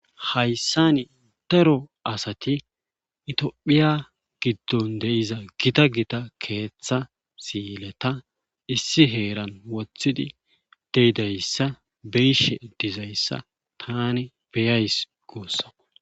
Hayssani daro asati itphiya giddon deiza gita gita keeththa siileta issi heeran wothidi deyidayssa biishe dizayssa tani beyays guussama.